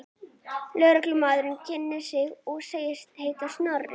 Lögreglumaðurinn kynnti sig og sagðist heita Snorri.